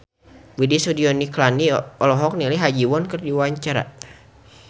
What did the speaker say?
Widy Soediro Nichlany olohok ningali Ha Ji Won keur diwawancara